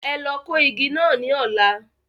Ẹ lọ kó igi náà ní ọ̀la.